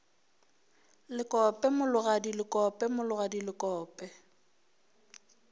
lekope mologadi lekope mologadi lekope